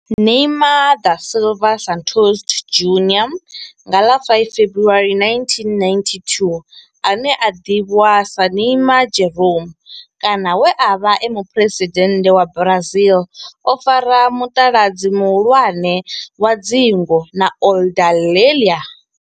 Neymar da Silva Santos Junior nga ḽa 5 February 1992, ane a ḓivhiwa sa Neymar Jeromme kana we a vha e muphuresidennde wa Brazil o fara mutaladzi muhulwane wa dzingu na Aludalelia.